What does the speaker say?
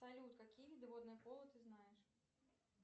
салют какие виды водного поло ты знаешь